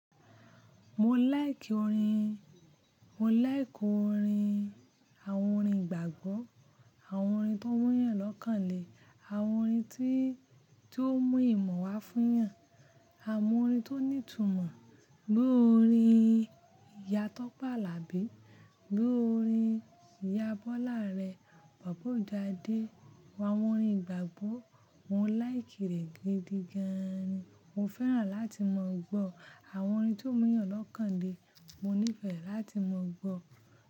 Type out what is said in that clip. Mo like orin, mo like orin, àwọn orin gbàgbọ́, àwọn orin tó mú yàn lọ́kàn le, àwọn orin tí, tí ó mú ìmọ̀ wá fún yàn, àwọn orin tó ní ìtumọ̀, bí i orin Ìyá Tọ́pẹ́ Àlàbí, bí i orin Ìyá Bọ́lá Arẹ̀, Bàbá Òjo Ade, àwọn orin ìgbàgbọ́ mo like rẹ̀ gidi gan ni. Mo fẹ́ràn láti mọ̀ gbọ́ àwọn orin tó mú yàn lọ́kàn le, mo nífẹ̀ẹ́ láti mọ̀ gbọ́